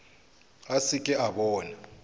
a se ke a bona